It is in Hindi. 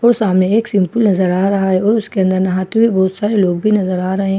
और सामने एक शेम्पू नजर आ रहा है और उसके अंदर नहाते हुए बहुत सारे लोग भी नजर आ रहे हैं बाहर --